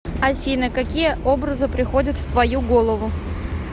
афина какие образы приходят в твою голову